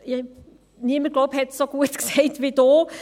Ich denke, niemand hat es so gut ausgedrückt wie Sie.